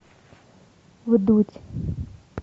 вдудь